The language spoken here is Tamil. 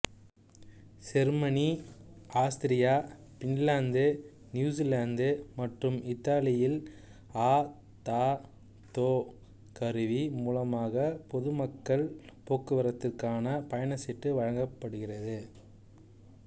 செருமனி ஆஸ்திரியா பின்லாந்து நியூசிலாந்து மற்றும் இத்தாலியில் அ த தொ கருவி மூலமாக பொதுமக்கள் போக்குவரத்திற்கான பயணச்சீட்டு வழங்கப்படுகிறது